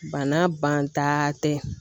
Bana banta tɛ